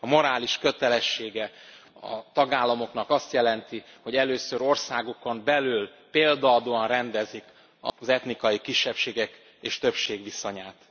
A morális kötelessége a tagállamoknak azt jelenti, hogy először országukon belül példaadóan rendezik az etnikai kisebbségek és többség viszonyát.